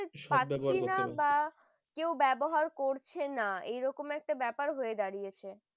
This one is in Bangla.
শব্দ বের করতে পারছি না বা কেউ ব্যবহার করছে না এরকম একটা ব্যাপার হয়ে দাঁড়িয়েছে